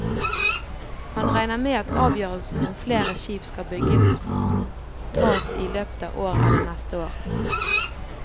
Han regner med at avgjørelsen om flere skip skal bygges tas i løpet av året eller neste år.